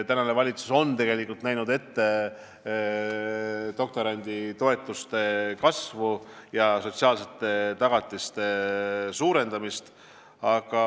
Tänane valitsus on näinud ette doktoranditoetuste kasvu ja sotsiaalsete tagatiste suurenemist.